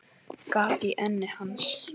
Gat í enni hans.